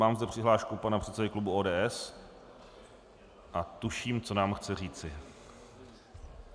Mám zde přihlášku pana předsedy klubu ODS a tuším, co nám chce říci.